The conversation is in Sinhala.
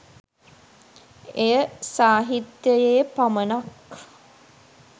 එය සාහිත්‍යයේ පමණක්